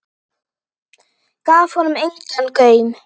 Gaf honum engan gaum.